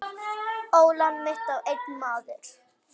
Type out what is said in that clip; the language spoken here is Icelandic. Ólán mitt á einn maður.